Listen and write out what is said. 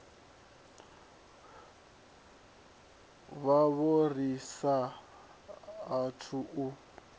vhavho ri sa athu u